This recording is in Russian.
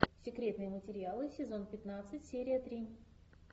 секретные материалы сезон пятнадцать серия три